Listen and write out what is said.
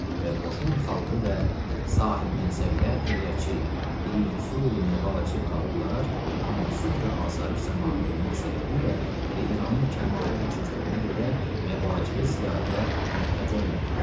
Və qoşun xalqı və sahibmənsəblər əgərçi bir vüsu-məvacib qalıblar, amma sülh və asayiş zamanı olmaq səbəbilə və İranın kəmal-ucuzluğuna görə məvacibə ziyadə möhtac olmayıblar.